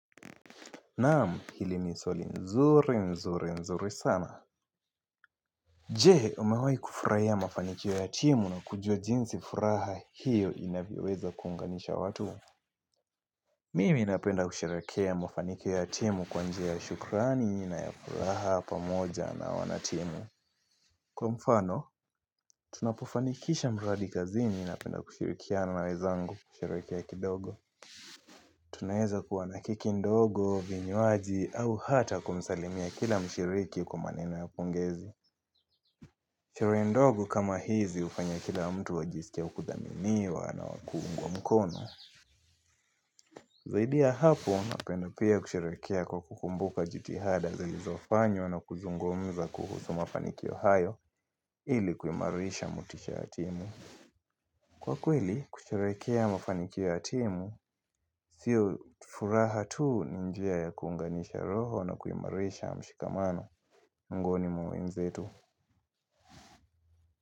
Naam hili ni swali nzuri nzuri nzuri sana. Jee umewahi kufurahia mafanikio ya timu na kujua jinsi furaha hiyo inavyoweza kuunganisha watu. Mimi napenda kusherehekea mafanikio ya timu kwa njia ya shukrani na ya furaha pamoja na wanatimu. Kwa mfano, tunapofanikisha mradi kazini ninapenda kushirikiana na wezangu kusherehekea kidogo. Tunaeza kuwa na keki ndogo, vinywaji au hata kumsalimia kila mshiriki kwa maneno ya pongezi. Sherehe ndogo kama hizi hufanya kila mtu ajisikie kudhaminiwa na wakiungwa mkono. Zaidi ya hapo, napenda pia kusherehekea kwa kukumbuka jitihada zilizofanywa na kuzungumza kuhusu mafanikio hayo ili kuimarisha motisha ya timu. Kwa kweli, kusherehekea mafanikio ya timu, sio furaha tuu ni njia ya kuunganisha roho na kuimarisha mshikamano miongoni mwa wenzetu.